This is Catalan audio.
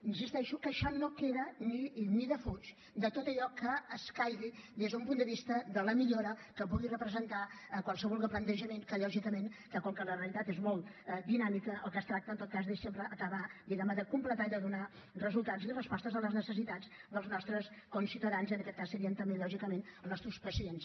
insisteixo que això no queda ni defuig de tot allò que escaigui des d’un punt de vista de la millora que pugui representar qualsevol plantejament que lògicament com que la realitat és molt dinàmica del que es tracta en tot cas és sempre acabar diguem ne de completar i de donar resultats i respostes a les necessitats dels nostres conciutadans i en aquest cas serien també lògicament els nostres pacients